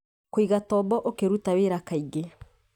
Kũigatombo ũkĩruta wĩra kaingĩ